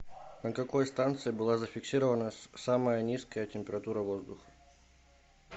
на какой станции была зафиксирована самая низкая температура воздуха